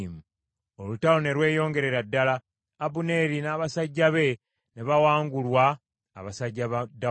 Olutalo ne lweyongerera ddala, Abuneeri n’abasajja be ne bawangulwa abasajja ba Dawudi.